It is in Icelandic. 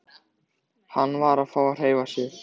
Hann varð að fá að hreyfa sig.